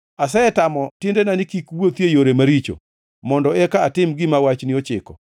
Asetamo tiendena ni kik wuothi e yore maricho, mondo eka atim gima wachni ochiko.